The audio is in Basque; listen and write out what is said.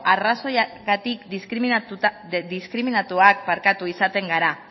arrazoiagatik diskriminatuak izaten gara